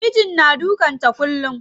Mijin na dukan ta kullum.